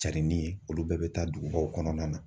Carinni ye olu bɛɛ bɛ taa dugubaw kɔnɔna na.